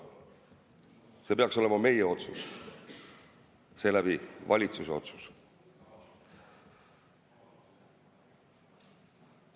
See peaks olema meie otsus, seeläbi valitsuse otsus.